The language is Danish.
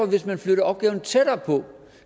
hvis man flytter opgaven tættere på